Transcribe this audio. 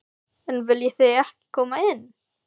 En viljið þið ekki koma inn?